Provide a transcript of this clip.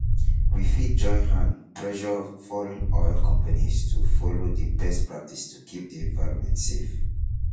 we fit join hand pressure foreign oil companies to follow di best practice to keep di environment safe